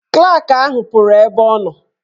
Klak ahụ pụrụ ebe ọ nọ.